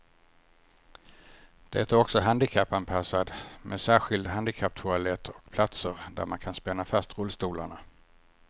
Det är också handikappanpassat med särskild handikapptoalett och platser där man kan spänna fast rullstolarna.